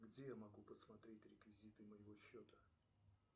где я могу посмотреть реквизиты моего счета